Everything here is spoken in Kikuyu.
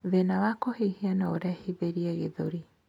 Thina wa kuhihia nourehithirie gĩthũri